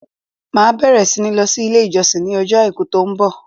Màá bẹ̀rẹ̀ sí ní lọ sí ilé ìjọsìn ní ọjọ́ Àìkú tó ń bọ̀.